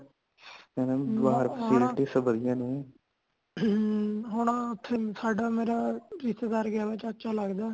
ਬਾਹਰ (overlap) ਹੁਣ ਓਥੇ ਸਾਡਾ ਮੇਰਾ ਰਿਸ਼ਤੇਦਾਰ ਗਯਾ ਚਾਚਾ ਲੱਗਦੇ